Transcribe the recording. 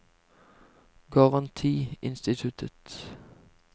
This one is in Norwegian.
garantiinstituttet